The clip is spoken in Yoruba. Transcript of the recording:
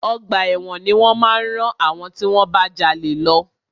Ọgbà ẹ̀wọ̀n ni wọ́n máa rán àwọn tí wọ́n bá jalè lọ.